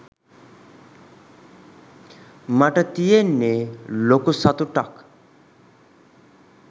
මට තියෙන්නෙ ලොකු සතුටක්